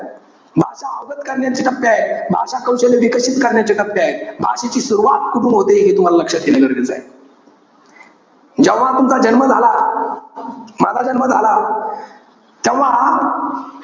भाषा अवगत करण्याचे टप्पे आहेत. भाषा कौधल्य् विकसित करण्याचे टप्पे आहेत. भाषेची सुरवात कुठून होते, हे तुम्हाला लक्षात येणं गरजेचंय. जेव्हा तुमचा जन्म झाला. माझा जन्म झाला. तेव्हा,